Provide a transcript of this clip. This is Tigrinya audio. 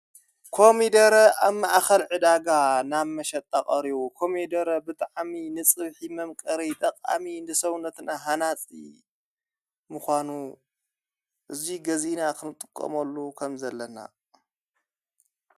ኮሚደረ ኣብ ማኣኸልዕዳጋ ናብ መሸጣቐር ኮሚይደረ ብጥዓሚ ንጽብሕ መምቀር ጠቓኣሚ ንሰውነትና ሓናፂ ምዃኑ እዙይ ገዜ ና ኽንጥቆምሉ ኸም ዘለና።